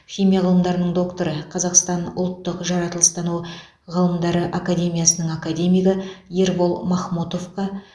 химия ғылымдарының докторы қазақстан ұлттық жаратылыстану ғылымдары академиясының академигі ербол махмотовқа